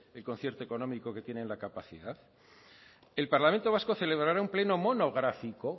el concierto económico que tienen la capacidad el parlamento vasco celebrará un pleno monográfico